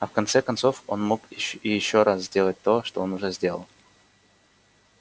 а в конце концов он мог и ещё раз сделать то что он уже сделал